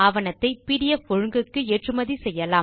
ஆவணத்தை பிடிஎஃப் ஒழுங்குக்கு ஏற்றுமதி செய்யலாம்